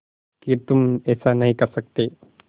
कि तुम ऐसा नहीं कर सकते